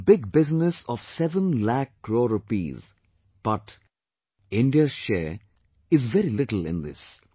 Such a big business of 7 lakh crore rupees but, India's share is very little in this